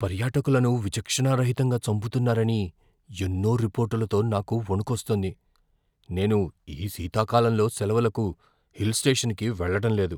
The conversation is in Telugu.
పర్యాటకులను విచక్షణారహితంగా చంపుతున్నారని ఎన్నో రిపోర్టులతో నాకు వణుకొస్తోంది, నేను ఈ శీతాకాలంలో సెలవులకు హిల్ స్టేషన్కి వెళ్లడం లేదు.